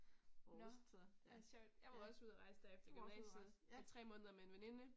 Nåh, ej sjovt. Jeg var også ude og rejse der efter gymnasiet. I 3 måneder med en veninde